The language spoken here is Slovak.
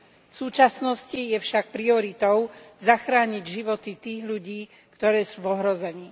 V súčasnosti je však prioritou zachrániť životy tých ľudí, ktorí sú v ohrození.